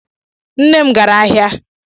Nne m gara ahịa.